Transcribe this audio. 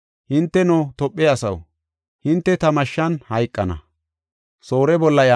Hinteno, Tophe asaw, hinte ta mashshan hayqana.